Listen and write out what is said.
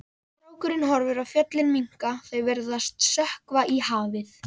Strákurinn horfir á fjöllin minnka, þau virðast sökkva í hafið.